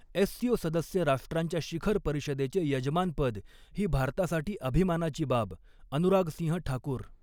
SCO सदस्य राष्ट्रांच्या शिखर परिषदेचे यजमानपद ही भारतासाठी अभिमानाची बाबः अनुराग सिंह ठाकूर